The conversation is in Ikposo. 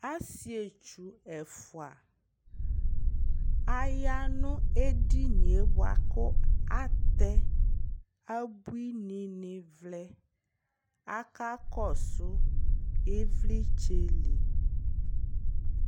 asii ɛtwʋ ɛƒʋa ayanʋ ɛdiniɛ bʋakʋ atɛ abʋini ni vlɛ, aka kɔsʋ ivlitsɛ li